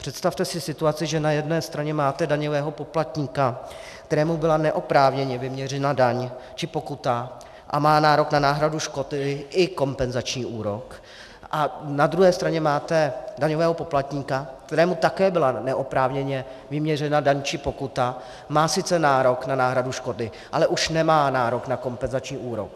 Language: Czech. Představte si situaci, že na jedné straně máte daňového poplatníka, kterému byla neoprávněně vyměřena daň či pokuta a má nárok na náhradu škody i kompenzační úrok, a na druhé straně máte daňového poplatníka, kterému také byla neoprávněně vyměřena daň či pokuta, má sice nárok na náhradu škody, ale už nemá nárok na kompenzační úrok.